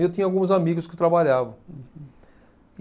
E eu tinha alguns amigos que trabalhavam. Uhum.